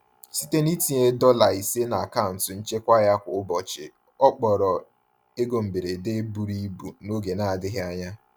Site n’itinye dola ise n’akaụntụ nchekwa ya kwa ụbọchị, ọ kpọrọ ego mberede buru ibu n’oge na-adịghị anya.